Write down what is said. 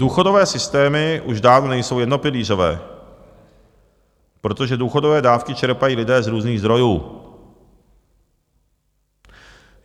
Důchodové systémy už dávno nejsou jednopilířové, protože důchodové dávky čerpají lidé z různých zdrojů.